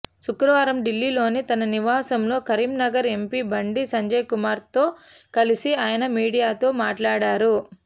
శుక్రవారం ఢిల్లీలోని తన నివాసంలో కరీంనగర్ ఎంపీ బండి సంజయ్కుమార్తో కలిసి ఆయన మీడియాతో మాట్లాడారు